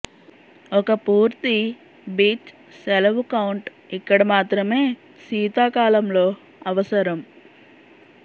ఒక పూర్తి బీచ్ సెలవు కౌంట్ ఇక్కడ మాత్రమే శీతాకాలంలో అవసరం